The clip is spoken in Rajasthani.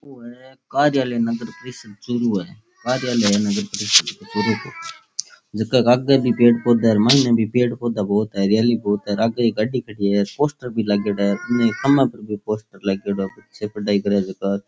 ओ है कार्यालय नगर परिषद् चूरू है कार्यालय है नगर परिषद को चूरू को जेका आगे भी पेड़ पौधा है और माइने भी पेड़ पौधा बोहोत है हरियाली बहोत है और आगे एक गाडी खड़ी है पोस्टर भी लागेड़ा है उनने खम्भा पे भी पोस्टर लागेड़ा है --